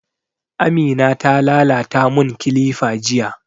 Amina ta lalata mun kilifa jiya